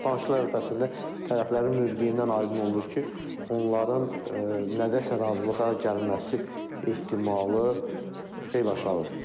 Danışıqlar ərəfəsində tərəflərin mövqeyindən aydın olur ki, onların nədəsə razılığa gəlməsi ehtimalı xeyli aşağıdır.